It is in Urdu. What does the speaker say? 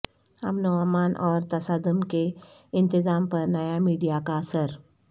امن و امان اور تصادم کے انتظام پر نیا میڈیا کا اثر